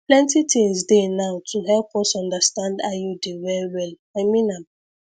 plenty things dey now to help us understand iud well well i mean am